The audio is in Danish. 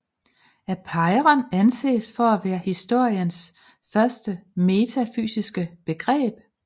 Apeiron anses for at være historiens første metafysiske begreb